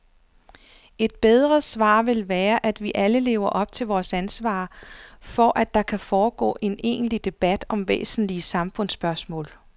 Et bedre svar vil være, at vi alle lever op til vores ansvar for, at der kan foregå en egentlig debat om væsentlige samfundsspørgsmål.